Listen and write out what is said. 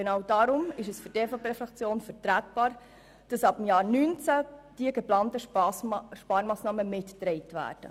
Genau darum ist es für die EVPFraktion vertretbar, die geplanten Sparmassnahmen ab dem Jahr 2019 mitzutragen.